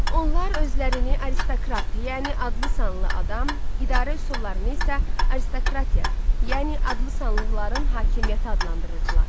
Onlar özlərini aristokrat, yəni adlı-sanlı adam, idarə üsullarını isə aristokratiya, yəni adlı-sanlıların hakimiyyəti adlandırırdılar.